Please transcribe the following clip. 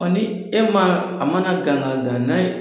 Ɔ ni e ma a mana gan ka gan